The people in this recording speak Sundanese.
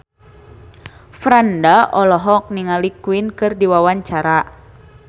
Franda olohok ningali Queen keur diwawancara